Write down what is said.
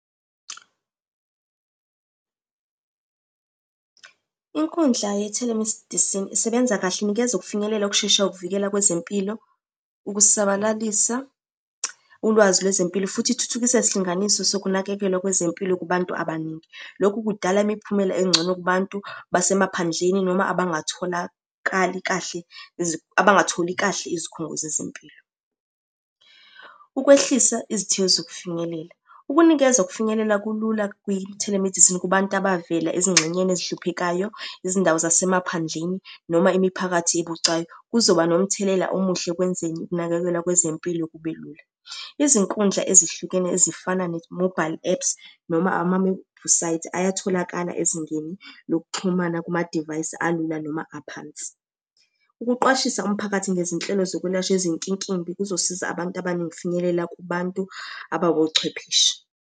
Inkundla ye-telemedicine isebenza kahle, inikeza ukufinyelela ukushesha ukuvikela kwezempilo, ukusabalalisa ulwazi lwezempilo, futhi ithuthukisa isilinganiso sokunakekelwa kwezempilo kubantu abaningi. Lokhu kudala imiphumela engcono kubantu basemaphandleni noma abatholakali kahle , abangatholi kahle izikhungo zezempilo. Ukwehlisa izithiyo zokufinyelela, ukunikeza ukufinyelela kulula kwi-telemedicine kubantu abavela ezingxenyeni ezihluphekayo, izindawo zasemaphandleni, noma imiphakathi ebucayi kuzoba nomthelela omuhle ekwenzeni ukunakekelwa kwezempilo kube lula. Izinkundla ezihlukene ezifana ne-mobile apps, noma amawebhusayithi ayatholakala ezingeni lokuxhumana kumadivayisi alula noma aphansi. Ukuqwashisa umphakathi ngezinhlelo zokwelashwa ezinkinkimbi kuzosiza abantu abaningi ukufinyelela kubantu abawochwepheshe.